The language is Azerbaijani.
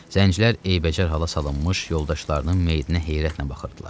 Zəncilər eybəcər hala salınmış yoldaşlarının meyitinə heyrətlə baxırdılar.